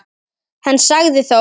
Hann sagði þó